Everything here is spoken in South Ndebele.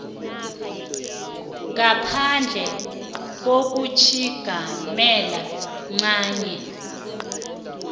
ngaphandle kokutjhigamela ncanye